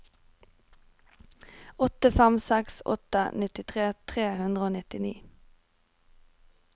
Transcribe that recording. åtte fem seks åtte nittitre tre hundre og nittini